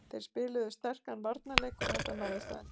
Þeir spiluðu sterkan varnarleik og þetta náðist á endanum